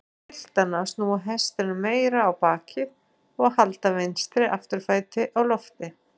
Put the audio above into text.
Hann biður piltana að snúa hestinum meira á bakið og halda vinstri afturfæti á lofti.